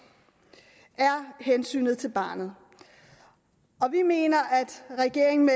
er hensynet til barnet og vi mener at regeringen